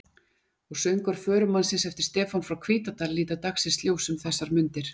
Og Söngvar förumannsins eftir Stefán frá Hvítadal líta dagsins ljós um þessar mundir.